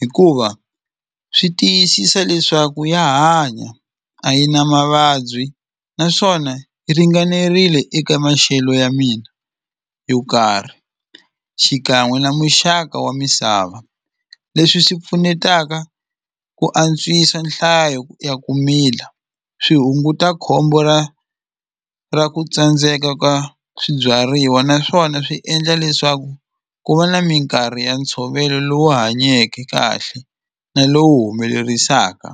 hikuva swi tiyisisa leswaku ya hanya a yi na mavabyi naswona yi ringanerile eka maxelo ya mina yo karhi xikan'we na muxaka wa misava leswi swi pfunetaka ku antswisa nhlayo ya ku mila swi hunguta khombo ra ra ku tsandzeka ka swibyariwa naswona swi endla leswaku ku va na minkarhi ya ntshovelo lowu hanyeke kahle na lowu humelerisaka.